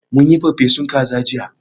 Mun yi farfesun kaza jiya